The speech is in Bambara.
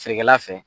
Feerekɛla fɛ